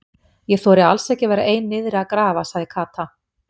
Ég þori alls ekki að vera ein niðri að grafa sagði Kata.